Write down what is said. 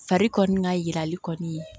Fari kɔni ka yirali kɔni